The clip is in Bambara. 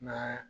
Ma